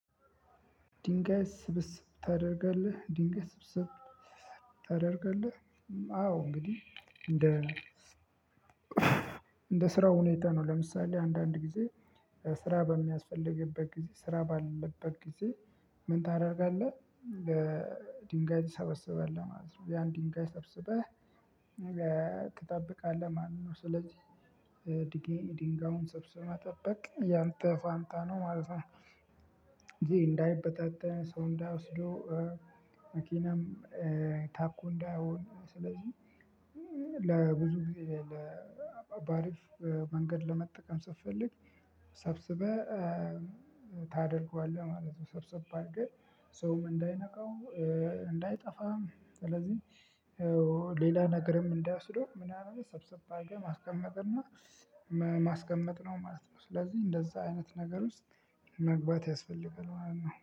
ድንጋይ ስብስብ ታደርገልህ ድንጋይ ስብስብ ታደርጋለህ። አዎ እንግድህ እንደስ እንደ ስራው ሁኔታ ነው ለምሳሌ አንዳንድ ጊዜ ስራ በሚያስፈልግበት ጊዜ ስራ ባለበት ጊዜ። ምን ታደርጋለህ ለድንጋይ ትሰበስባለህ ማለት ነው። ያን ድንጋይ ሰብስበህ ትጠብቃለህ ማለት ነው። ስለዚህ ድንጋዩን ሰብስበህ መጠበቅ ያንተ ፋንታ ነው ማለት ነው። ይሄ እንዳይበታተን ሰው እንዳይወስደው። መኪናም ታኮ እንዳይሆን ስለዚህ። ለብዙጊዜ በአሪፍ መንገድ ለመጠቀም ስትፈልግ ሰብስበህ ታደርገዋለህ ማለት ነው። ሰብስብ አርገህ ሰውም እንዳይነካው እንዳይጠፋም ስለዚህ ሌላ ነገርም እንዳይወስደው ምናምን ሰብሰብ አርገህ ማስቀመጥ እና ማስቀመጥ ነው ማለት ነው። ስለዚህ እንደዛ አይነት ነገር ውስጥ መግባት ያስፈልጋል ማለት ነው